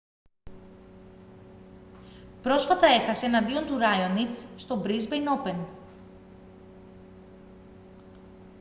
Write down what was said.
πρόσφατα έχασε εναντίον του ραόνιτς στο μπρίσμπεϊν όπεν